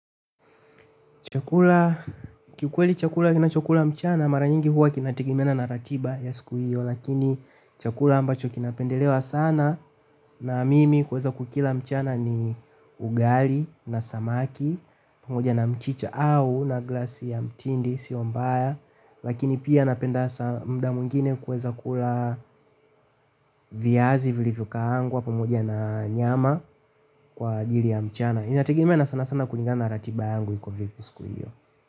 Chakula kikweli chakula ninachokula mchana mara nyingi huwa kinategemeana na ratiba ya siku hiyo lakini chakula ambacho kinapendelewa sana na mimi kuweza kukila mchana ni ugali na samaki pamoja na mchicha au na glasi ya mtindi sio mbaya lakini pia napenda muda mwingine kuweza kula viazi vilivyokaangwa pamoja na nyama kwa ajili ya mchana. Inategemea na sanasana kulingana na ratiba yangu iko vipi siku hiyo.